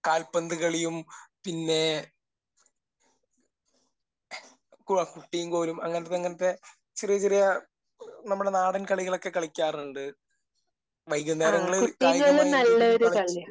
കാൽപന്ത് കളിയും പിന്നെ കുട്ടിയും കോലും. അങ്ങനത്തെ അങ്ങനത്തെ ചെറിയ ചെറിയ നമ്മുടെ നാടൻ കളികളൊക്കെ കളിക്കാറുണ്ട്. വൈകുന്നേരങ്ങളിൽ കായികമായി എന്തെങ്കിലും കളിച്ചിട്ട്